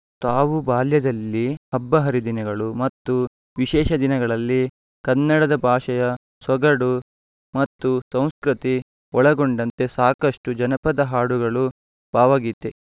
ತಾವು ಬಾಲ್ಯದಲ್ಲಿ ಹಬ್ಬಹರಿದಿನಗಳು ಮತ್ತು ವಿಶೇಷ ದಿನಗಳಲ್ಲಿ ಕನ್ನಡದ ಭಾಷೆಯ ಸೊಗಡು ಮತ್ತು ಸಂಸ್ಕೃತಿ ಒಳಗೊಂಡಂತೆ ಸಾಕಷ್ಟು ಜನಪದ ಹಾಡುಗಳು ಭಾವಗೀತೆ